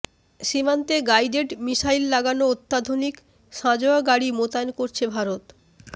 সীমান্তে guided missile লাগানো অত্যাধুনিক সাঁজোয়া গাড়ি মোতায়েন করছে ভারত